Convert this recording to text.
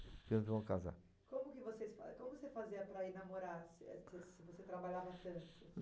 que eu vou casar. Como vocês, como você fazia para ir namorar, se você trabalhava tanto?